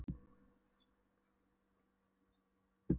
Júlía svaraði engu, fátaði niðurlút með viskustykkinu upp eftir buxunum.